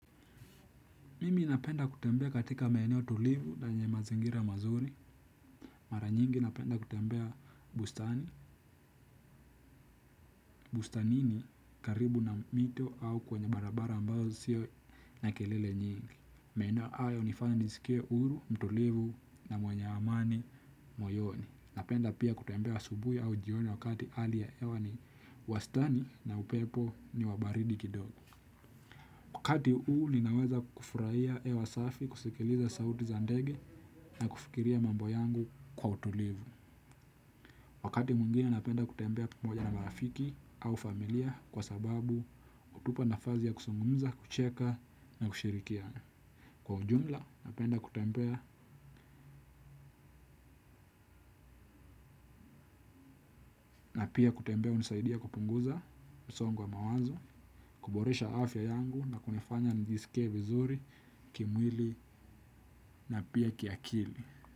Mimi napenda kutembea katika meenewo tulivu na yenye mazingira mazuri. Mara nyingi napenda kutembea bustani. Bustanini karibu na mito au kwenye barabara ambazo sio na kelele nyingi. Meenewo ayo nifanya nijisikie uru, mtulivu na mwenye amani, moyoni. Napenda pia kutembea asubui au jioni wakati alia ewa ni wastani na upepo ni wabaridi kidogo. Wakati u ninaweza kufurahia ewa safi kusikiliza sauti za ndege na kufikiria mambo yangu kwa utulivu. Wakati mungine napenda kutembea pamoja na marafiki au familia kwa sababu kutupa nafazi ya kusungunza, kucheka na kushirikia. Kwa ujumla napenda kutembea na pia kutembea unisaidia kupunguza msongo wa mawazo, kuboresha afya yangu na kunifanya njisike vizuri, kimwili na pia kiakili.